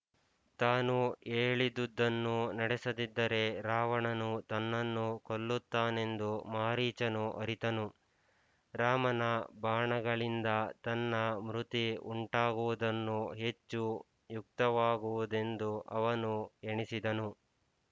ತಾನು ಹೇಳಿದುದನ್ನು ನಡಸದಿದ್ದರೆ ರಾವಣನು ತನ್ನನ್ನು ಕೊಲ್ಲುತ್ತಾನೆಂದು ಮಾರೀಚನು ಅರಿತನು ರಾಮನ ಬಾಣಗಳಿಂದ ತನ್ನ ಮೃತಿ ಉಂಟಾಗುವುದನ್ನು ಹೆಚ್ಚು ಯುಕ್ತವಾಗುವುದೆಂದು ಅವನು ಎಣಿಸಿದನು